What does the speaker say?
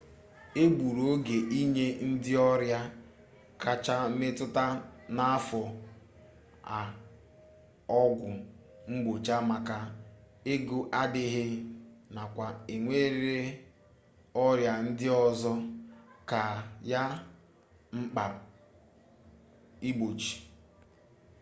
e gburu oge ịnye ndị ọrịa kacha metụta n'afọ a ọgwụ mgbochi maka ego adịghị nakwa enwere ọrịa ndị ọzọ ka ya mkpa igbochi